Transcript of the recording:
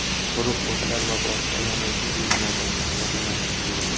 quruq o‘tlar va boshqa yonuvchi buyumlardan tozalanishi kerak.